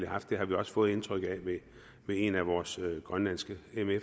haft det har vi også fået indtrykket af ved en af vores grønlandske